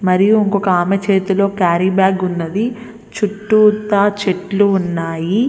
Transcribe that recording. మరియు ఇంకొక ఆమె చేతిలో క్యారీ బ్యాగ్ ఉన్నది. చుట్టూతా చెట్లు ఉన్నాయి.